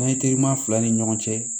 fila ni ɲɔgɔn cɛ